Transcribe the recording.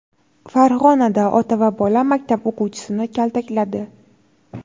Farg‘onada ota va bola maktab o‘quvchisini kaltakladi.